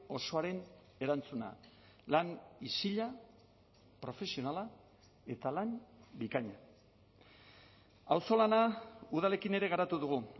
osoaren erantzuna lan isila profesionala eta lan bikaina auzolana udalekin ere garatu dugu